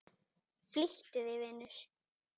Flýttu þér, vinur.